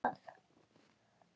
Og hvað?